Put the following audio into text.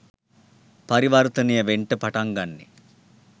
පරිවර්තනය වෙන්ට පටන් ගන්නෙ.